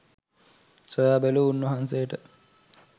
සොයා බැලූ උන්වහන්සේට